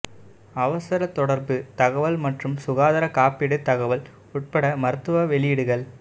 அவசர தொடர்பு தகவல் மற்றும் சுகாதார காப்பீடு தகவல் உட்பட மருத்துவ வெளியீடுகள்